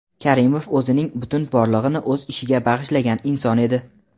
Karimov – o‘zining butun borlig‘ini o‘z ishiga bag‘ishlagan inson edi.